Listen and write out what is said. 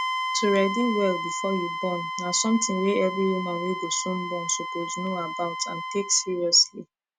to ready well before you born na something wey every woman wey go soon born suppose know about and take seriously